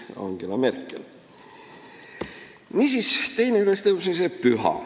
" Niisiis, teine ülestõusmispüha.